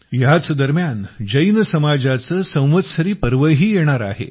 ह्याच दरम्यान जैन समाजाचा संवत्सरी पर्वही येणार आहे